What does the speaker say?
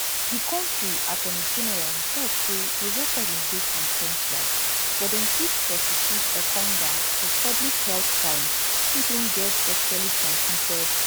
di kontri attorney general tok say di recordings dey consensual but dem fit prosecute engonga for public health crimes if im get sexuallytransmitted sexuallytransmitted infection